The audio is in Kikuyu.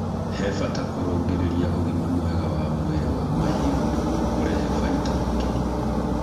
He bata kũrũngĩrĩria ũgima mwega wa mwĩrĩ wa mahiũ nĩguo kurehe baita makĩria.